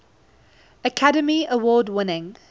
academy award winning